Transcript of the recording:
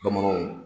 Bamananw